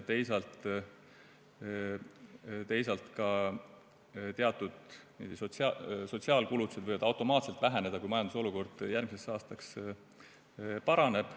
Teisalt võivad ka teatud sotsiaalkulutused automaatselt väheneda, kui majanduslik olukord järgmiseks aastaks paraneb.